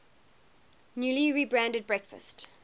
newly rebranded breakfast